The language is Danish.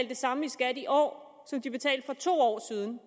det samme i skat i år som de betalte for to år siden